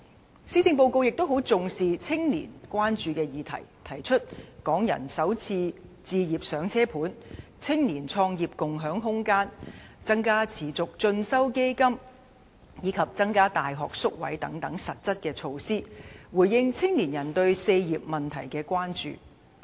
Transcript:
此外，施政報告亦很重視青年關注的議題，提出"港人首置上車盤"、青年創業共享空間、增加持續進修基金，以及增加大學宿位等實質措施，藉此回應青年人對"四業"問題的關注。